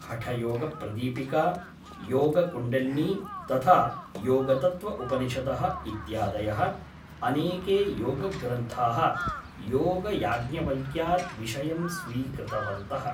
हठयोगप्रदीपिका, योगकुण्डलिनी तथा योगतत्त्वउपनिषदः इत्यादयः अनेके योगग्रन्थाः योगयाज्ञवल्क्यात् विषयं स्वीकृतवन्तः ।